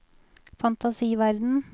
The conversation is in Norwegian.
fantasiverden